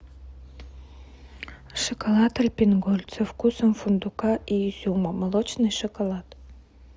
шоколад альпен гольд со вкусом фундука и изюма молочный шоколад